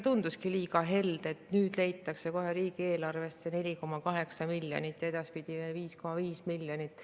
Tunduski liiga helde, et nüüd leitakse kohe riigieelarvesse 4,8 miljonit ja edaspidi 5,5 miljonit.